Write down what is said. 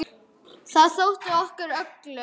Það þótti okkur öllum.